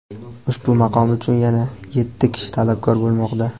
Ushbu maqom uchun yana yetti kishi talabgor bo‘lmoqda.